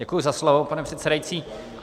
Děkuji za slovo, pane předsedající.